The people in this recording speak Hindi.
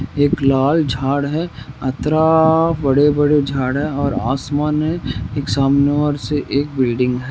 एक लाल झाड़ है और इतरा बडे बड़े जाड़ है और आसमान एक सामने ओर एक बिल्डिंग हैं।